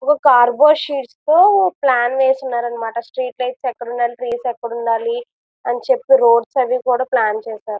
ఒక cardboard sheet తో plan వేసినారు అన్నమాట స్ట్రీట్స్ లైట్స్ ఎక్కడ ఉండాలి ట్రీస్ ఎక్కడ ఉండాలి అని చెప్పి రోడ్స్ అవి కూడా ప్లాన్ చేశారు.